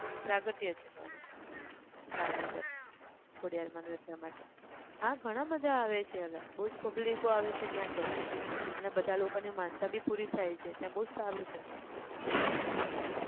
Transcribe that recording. પ્રાગટ્ય છે ત્યાંનું ભાવનગર ખોડિયાર માંનું એટલા માટે હા ઘણાં બધા આવે છે અલા બઉજ pablic ઓ આવે છે ત્યાં તો અને બધા લોકો ની માનતા બી પુરી થાય છે ત્યાં બઉ જ સારું છે એટલે